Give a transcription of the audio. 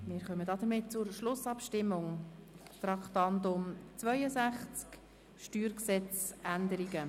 Somit kommen wir zur Schlussabstimmung des Traktandums 62, StG-Änderung.